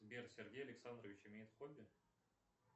сбер сергей александрович имеет хобби